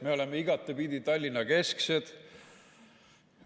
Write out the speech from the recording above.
Me oleme igatepidi Tallinna-kesksed.